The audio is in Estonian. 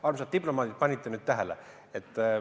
Armsad diplomaadid, panite nüüd tähele!